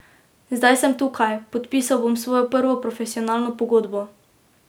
Zdaj sem tukaj, podpisal bom svojo prvo profesionalno pogodbo.